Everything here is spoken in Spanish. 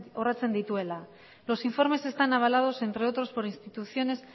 dituela los informes están avalados entre otros por instituciones